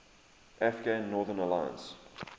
afghan northern alliance